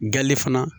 Gali fana